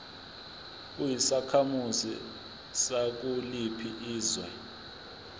uyisakhamuzi sakuliphi izwe